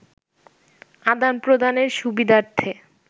আদান-প্রদানের সুবিধার্থে